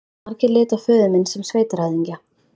Margir litu á föður minn sem sveitarhöfðingja.